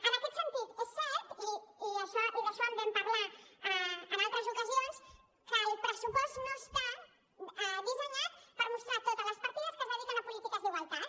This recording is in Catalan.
en aquest sentit és cert i d’això en vam parlar en altres ocasions que el pressupost no està dissenyat per mostrar totes les partides que es dediquen a polítiques d’igualtat